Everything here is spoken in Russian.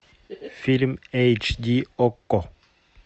фильм эйч ди окко